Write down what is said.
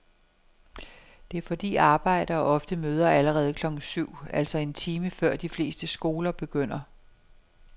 Det er fordi arbejdere ofte møder allerede klokken syv, altså en time før de fleste skoler begynder.